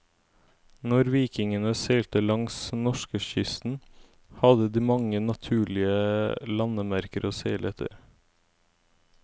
Når vikingene seilte langs norskekysten, hadde de mange naturlige landemerker å seile etter.